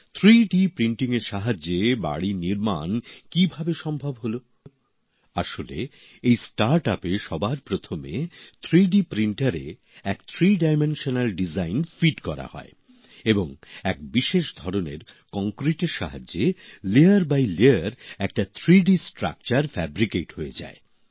ত্রিমাত্রিক মুদ্রণের সাহায্যে বাড়ির নির্মাণ কিভাবে সম্ভব হলো আসলে এই নতুন উদ্যোগ বা স্টার্ট আপে সবার প্রথমে ত্রিমাত্রিক মুদ্রণযন্ত্রে একটি থ্রি ডায়মেশনাল নকশা ঢোকান হয় এবং এক বিশেষ ধরনের কংক্রিটের সাহায্যে একটির উপর একটি স্তরে একটা ত্রিমাত্রিক কাঠামো তৈরি হয়ে যায়